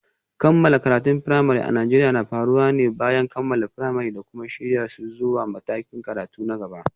Kammala karatun firamare a Najeriya na faruwa ne bayan kammala firamare da kuma shirya su zuwa matakin karatu na gaba.